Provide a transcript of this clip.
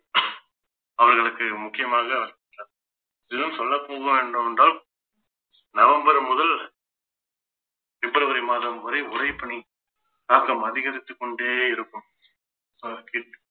அவர்களுக்கு முக்கியமாக இன்னும் சொல்ல போனால் என்றால் நவம்பர் முதல் பிப்ரவரி மாதம் வரை உறைபனி தாக்கம் அதிகரித்துக் கொண்டே இருக்கும்